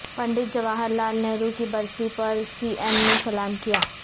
Pandit Jawaharlal Nehru کی برسی پر سی ایم نےسلام کیا